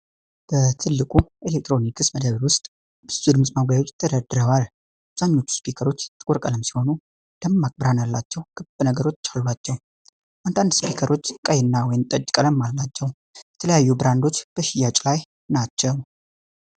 በትልቁ የኤሌክትሮኒክስ መደብር ውስጥ ብዙ ድምፅ ማጉያዎች ተደርድረዋል። አብዛኞቹ ስፒከሮች ጥቁር ቀለም ሲሆኑ፣ ደማቅ ብርሃን ያላቸው ክብ ነገሮች አሏቸው። አንዳንድ ስፒከሮች ቀይ እና ወይን ጠጅ ቀለም አላቸው። የተለያዩ ብራንዶች በሽያጭ ላይ ናቸው።